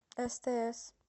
стс